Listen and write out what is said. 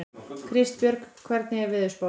Kristbjörg, hvernig er veðurspáin?